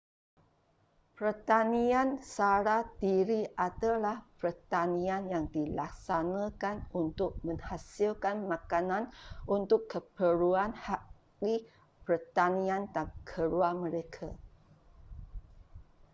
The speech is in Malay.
pertanian sara diri adalah pertanian yang dilaksanakan untuk menghasilkan makanan untuk keperluan ahli pertanian dan keluar mereka